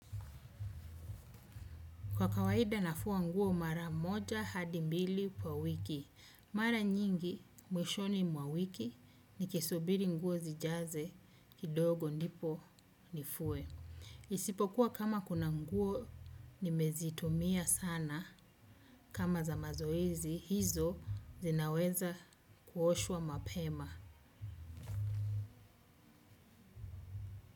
Kwa kawaida nafua nguo mara moja hadi mbili kwa wiki. Mara nyingi mwishoni mwa wiki nikisubiri nguo zijaze kidogo ndipo nifue. Isipokuwa kama kuna nguo nimezitumia sana kama za mazoezi hizo zinaweza kuoshwa mapema.